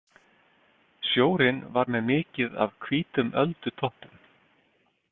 Sjórinn var með mikið af hvítum öldutoppum.